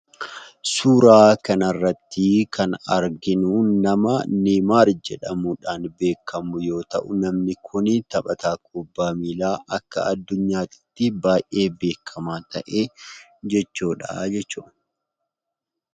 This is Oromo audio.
Suuraa kanarratti kan arginu nama Neeymaar jedhamudhaan beekamu yoo ta'u namni kun taphataa kubbaa miillaa akka addunyaatitti baay, ee beekkamaa ta'e jechuudha.